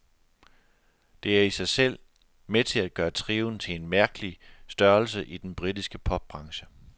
Det er i sig selv med til at gøre trioen til en mærkelig størrelse i den britiske popbranche.